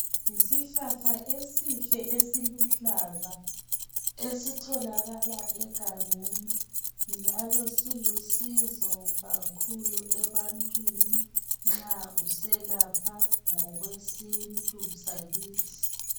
Yisihlahla esihle esiluhlaza esitholakala egangeni njalo silusizo kakhulu ebantwini nxa uselapha ngokwesintu sakithi.